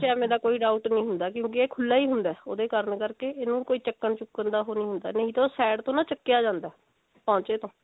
ਐਵੇਂ ਦਾ ਕੋਈ doubt ਨਹੀਂ ਹੁੰਦਾ ਕਿਉਂਕਿ ਇਹ ਖੁੱਲਾ ਹੀ ਹੁੰਦਾ ਉਹਦੇ ਕਾਰਨ ਕਰਕੇ ਇਹਨੂੰ ਕੋਈ ਚੱਕਣ ਚੁੱਕਣ ਦਾ ਹੋਰ ਹੁੰਦਾ ਨਹੀਂ ਤਾਂ ਉਹ side ਤੋਂ ਨਾ ਚੱਕਿਆ ਜਾਂਦਾ ਪੌਂਚੇ ਤੋਂ